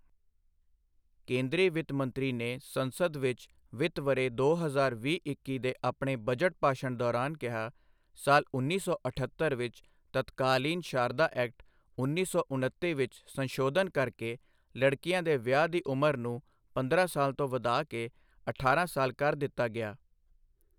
ਕੇਂਦਰੀ ਵਿੱਤ ਮੰਤਰੀ ਨੇ ਸੰਸਦ ਵਿੱਚ ਵਿੱਤ ਵਰ੍ਹੇ ਦੋ ਹਜ਼ਾਰ ਵੀਹ ਇੱਕੀ ਦੇ ਆਪਣੇ ਬਜਟ ਭਾਸ਼ਣ ਦੌਰਾਨ ਕਿਹਾ, ਸਾਲ ਉੱਨੀ ਸੌ ਅਠੱਤਰ ਵਿੱਚ ਤਤਕਾਲੀਨ ਸ਼ਾਰਦਾ ਐਕਟ, ਉੱਨੀ ਸੌ ਉਨੱਤੀ ਵਿੱਚ ਸੰਸ਼ੋਧਨ ਕਰਕੇ ਲੜਕੀਆਂ ਦੇ ਵਿਆਹ ਦੀ ਉਮਰ ਨੂੰ ਪੰਦਰਾਂ ਸਾਲ ਤੋਂ ਵਧਾ ਕੇ ਅਠਾਰਾਂ ਸਾਲ ਕਰ ਦਿੱਤਾ ਗਿਆ।